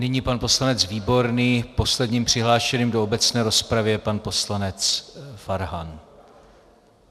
Nyní pan poslanec Výborný, posledním přihlášeným do obecné rozpravy je pan poslanec Farhan.